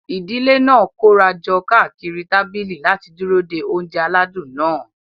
Ìdílé náà kóra jọ káàkiri tábìlì láti dúró de oúnjẹ aládùn náà.